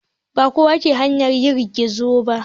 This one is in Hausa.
Ba kowa ke hawa yanar gizo ba.